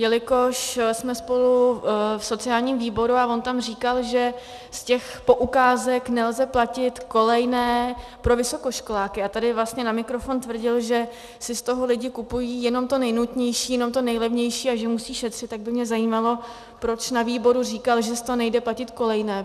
Jelikož jsme spolu v sociálním výboru a on tam říkal, že z těch poukázek nelze platit kolejné pro vysokoškoláky, a tady vlastně na mikrofon tvrdil, že si z toho lidi kupují jenom to nejnutnější, jenom to nejlevnější a že musí šetřit, tak by mě zajímalo, proč na výboru říkal, že z toho nejde platit kolejné.